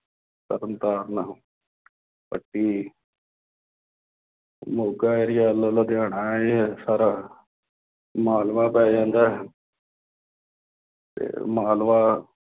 Tarn Taran Patti Moga area ਵੱਲੌਂ ਲੁਧਿਆਣਾ ਹੈ। ਇਹ ਸਾਰਾ ਮਾਲਵਾ ਪੈ ਜਾਂਦਾ ਹੈ ਅਤੇ ਮਾਲਵਾ